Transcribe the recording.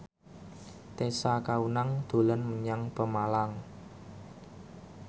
Tessa Kaunang dolan menyang Pemalang